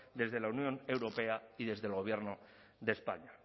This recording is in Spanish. desde la unión europea y desde el gobierno de españa